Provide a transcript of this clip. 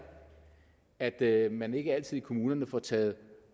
at at man ikke altid i kommunerne får taget